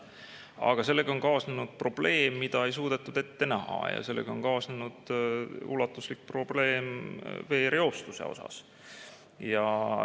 Aga sellega on kaasnenud probleem, mida ei suudetud ette näha: nimelt on sellega kaasnenud ulatuslik veereostuse probleem.